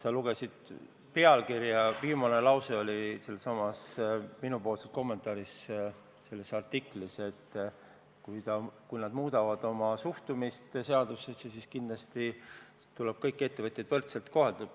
Sa lugesid pealkirja, aga viimane lause minupoolses kommentaaris selles artiklis oli see, et kui nad muudavad oma suhtumist seadustesse, siis kindlasti tuleb kõiki ettevõtjaid kohelda võrdselt.